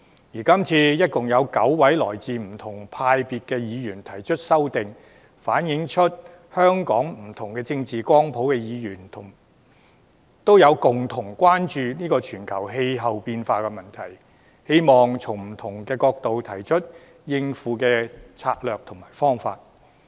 而今次一共有9位來自不同派別的議員提出修正案，反映出香港不同政治光譜的議員，都共同關注全球氣候變化的問題，希望從不同角度提出應對的策略及方法。